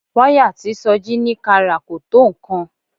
Wáyà tí Sọjí ní ká rà kò tó nǹkan